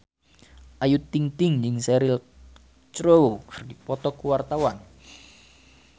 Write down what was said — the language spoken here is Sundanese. Ayu Ting-ting jeung Cheryl Crow keur dipoto ku wartawan